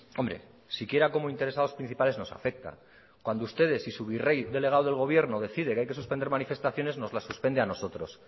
hombre siquiera como interesados principales nos afecta cuando ustedes y su virrey delegado del gobierno decide que hay que suspender manifestaciones nos la suspende a nosotros